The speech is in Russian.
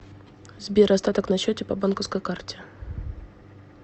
сбер остаток на счете по банковской карте